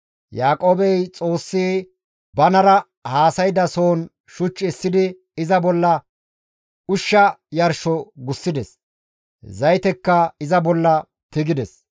Yaaqoobey Xoossi banara haasayda sohon shuch essidi iza bolla ushsha yarsho gussides; zaytekka iza bolla tigides.